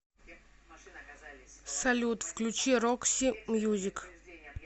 салют включи рокси мьюзик